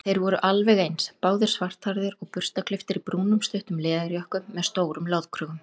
Þeir voru alveg eins, báðir svarthærðir og burstaklipptir í brúnum stuttum leðurjökkum með stórum loðkrögum.